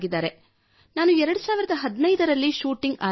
ನಾನು 2015 ರಲ್ಲಿ ಶೂಟಿಂಗ್ ಆರಂಭಿಸಿದೆ